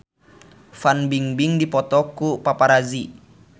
Fan Bingbing dipoto ku paparazi